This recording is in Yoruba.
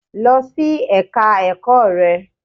Lọ sí Ẹ̀ka ẹ̀kọ́ rẹ!